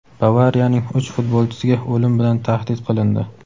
"Bavariya"ning uch futbolchisiga o‘lim bilan tahdid qilindi.